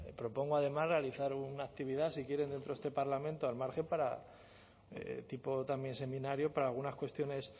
propongo además realizar una actividad si quieren dentro de este parlamento al margen para tipo también seminario para algunas cuestiones